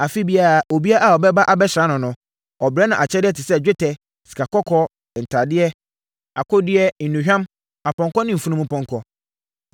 Afe biara, obiara a ɔbɛba abɛsra no no, ɔbrɛ no akyɛdeɛ te sɛ dwetɛ, sikakɔkɔɔ, ntadeɛ, akodeɛ, nnuhwam, apɔnkɔ ne mfunumpɔnkɔ.